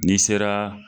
N'i sera